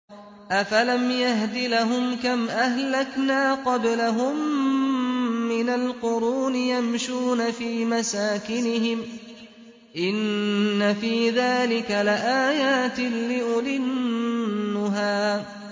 أَفَلَمْ يَهْدِ لَهُمْ كَمْ أَهْلَكْنَا قَبْلَهُم مِّنَ الْقُرُونِ يَمْشُونَ فِي مَسَاكِنِهِمْ ۗ إِنَّ فِي ذَٰلِكَ لَآيَاتٍ لِّأُولِي النُّهَىٰ